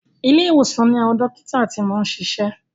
Ilé ìwòsàn ni àwọn dókítà ti ń ṣiṣẹ́.